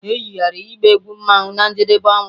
E yigharịrị ịgba egwu mmanwu na njedebe ọnwa